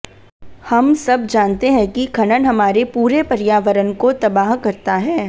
हम सब जानते हैं कि खनन हमारे पूरे पर्यावरण को तबाह करता है